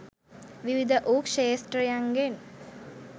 විවිධ වූ ක්‍ෂෙත්‍රයන්ගෙන්